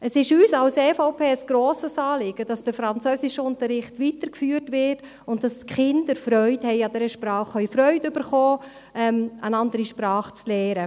Es ist uns von der EVP ein grosses Anliegen, dass der Französischunterricht weitergeführt wird und dass die Kinder Freude an dieser Sprache haben und Freude bekommen können, eine andere Sprache zu lernen.